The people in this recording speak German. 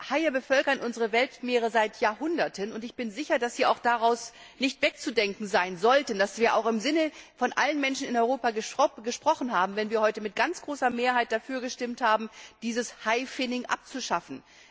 Aber Haie bevölkern unsere Weltmeere seit Jahrhunderten, und ich bin sicher, dass sie daraus auch nicht wegzudenken sein sollten und dass wir auch im Sinne aller Menschen in Europa gesprochen haben, wenn wir heute mit ganz großer Mehrheit dafür gestimmt haben, dieses Hai Finning abzuschaffen.